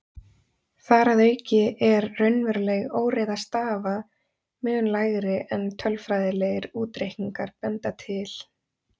Þar að auki er raunveruleg óreiða stafa mun lægri en tölfræðilegir útreikningar benda til.